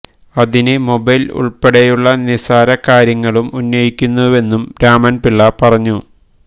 അതിന് മൊബൈല് ഉള്പ്പെടെയുള്ള നിസാര കാര്യങ്ങളും ഉന്നയിക്കുന്നുവെന്നും രാമന്പിള്ള പറഞ്ഞു